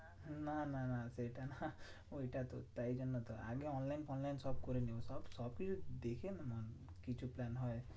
না না না সেটা না ওইটা তো তাই জন্য তো আগে online ফোনলাইন করে নেবো সব। সবই তো দেখে নে না কিছু plan হয়।